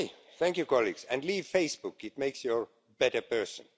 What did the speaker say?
Thank you, colleagues, and leave Facebook it makes you a better person.